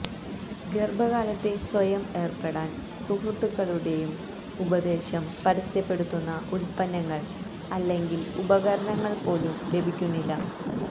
ഗർഭകാലത്തെ സ്വയം ഏർപ്പെടാൻ സുഹൃത്തുക്കളുടെയും ഉപദേശം ൽ പരസ്യപ്പെടുത്തുന്ന ഉൽപ്പന്നങ്ങൾ അല്ലെങ്കിൽ ഉപകരണങ്ങൾ പോലും ലഭിക്കുന്നില്ല